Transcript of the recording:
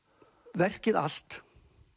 verkið allt